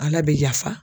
Ala bɛ yafa